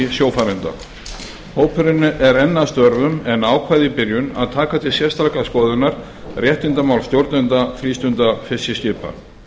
sjófarenda hópurinn er enn að störfum en ákvað í byrjun að taka til sérstakrar skoðunar réttindamál stjórnenda frístundafiskiskipa